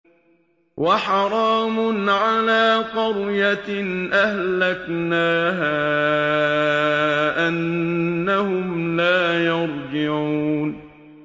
وَحَرَامٌ عَلَىٰ قَرْيَةٍ أَهْلَكْنَاهَا أَنَّهُمْ لَا يَرْجِعُونَ